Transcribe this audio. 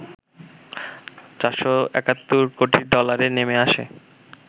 ৪৭১ কোটি ডলারে নেমে আসে